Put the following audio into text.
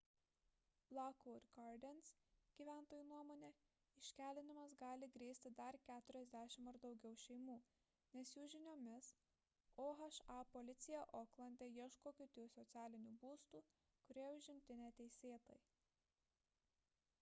lockwood gardens gyventojų nuomone iškeldinimas gali grėsti dar 40 ar daugiau šeimų nes jų žiniomis oha policija oklande ieško kitų socialinių būstų kurie užimti neteisėtai